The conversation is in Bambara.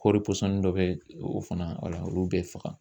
Kɔɔri pɔsɔni dɔ bɛ ye o fana wala olu bɛ faga.